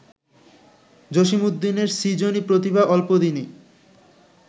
জসীমউদ্দীনের ‘সৃজনী প্রতিভা’ অল্পদিনেই